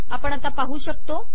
आपण आता पाहू शकतो